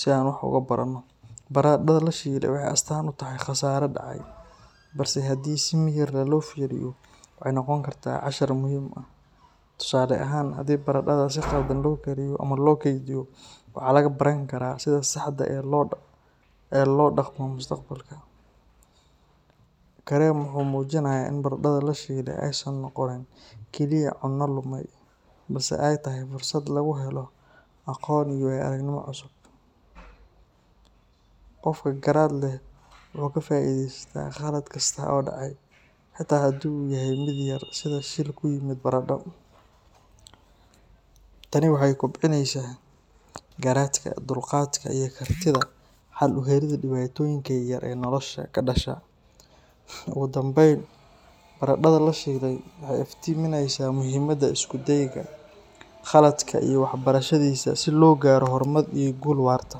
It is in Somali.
si aan wax uga barano. Baradhada la shilay waxay astaan u tahay khasaare dhacay, balse haddii si miyir leh loo fiiriyo, waxay noqon kartaa cashar muhiim ah. Tusaale ahaan, haddii baradhada si khaldan loo kariyo ama loo kaydiyo, waxaa laga baran karaa sida saxda ah ee loo dhaqmo mustaqbalka. Kareem wuxuu muujinayaa in baradhada la shilay aysan noqonin keliya cunno lumay, balse ay tahay fursad lagu helo aqoon iyo waayo aragnimo cusub. Qofka garaad leh wuxuu ka faa’iidaystaa khalad kasta oo dhacay, xitaa haddii uu yahay mid yar sida shil ku yimid baradho. Tani waxay kobcinaysaa garaadka, dulqaadka, iyo kartida xal u helidda dhibaatooyinka yaryar ee nolosha ka dhasha. Ugu dambayn, baradhada la shilay waxay iftiiminaysaa muhiimadda isku dayga, khaladka iyo wax ka barashadiisa si loo gaaro horumar iyo guul waarta.